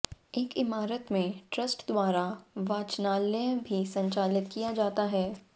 एक इमारत में ट्रस्ट द्वारा वाचनालय भी संचालित किया जाता है